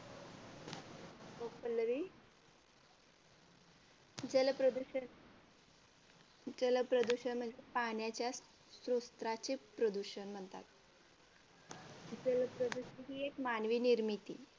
हो पल्लवी जलप्रदूषण, जलप्रदूषण म्हणजे पाण्याच्या प्रदूषण म्हणतात. जल प्रदूषण ही एक मानवी निर्मित